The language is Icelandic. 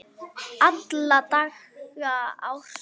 Alla daga ársins!